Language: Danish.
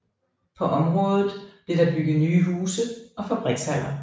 På området blev der bygget nye huse og fabrikshaller